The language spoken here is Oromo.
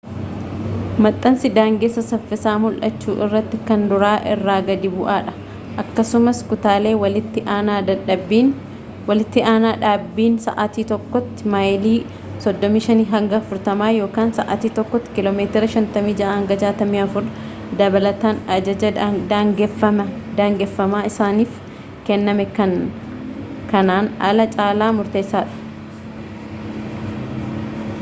maxxansi daangessa saffisaa mul’achuu irratti kan duraa irra gadi bu’aadha akkasumas kutaalee walitti aanaa — dhaabbiin sa’aatii tokkotti maayilii 35-40 sa’aatii tokkotti kiilomeetira 56-64 — dabalataan ajaja daangeffamaa isaaniif kenname kan kanaan alaa caala murteessadha